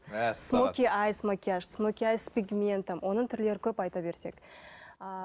мәссаған смоки айс макияж смоки айс с пегментом оның түрлері көп айта берсек ыыы